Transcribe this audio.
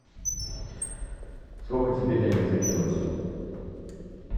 сколько тебе денег закинуть